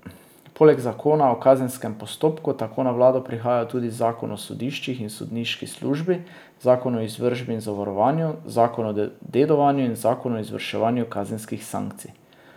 Poleg zakona o kazenskem postopku tako na vlado prihajajo tudi zakon o sodiščih in sodniški službi, zakon o izvršbi in zavarovanju, zakon o dedovanju in zakon o izvrševanju kazenskih sankcij.